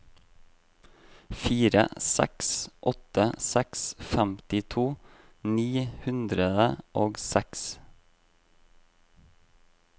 fire seks åtte seks femtito ni hundre og seks